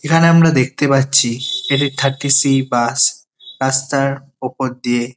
এখানে আমরা দেখতে পাচ্ছি এটা থার্টি সি বাস রাস্তার ওপর দিয়ে।